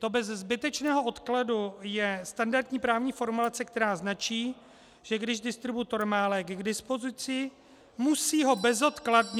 To "bez zbytečného odkladu" je standardní právní formulace, která značí, že když distributor má lék k dispozici, musí ho bezodkladně...